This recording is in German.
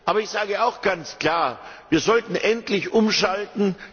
Aber ich sage auch ganz klar, wir sollten endlich umschalten.